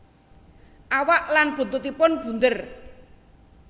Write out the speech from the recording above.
Awak lan buntutipun bunder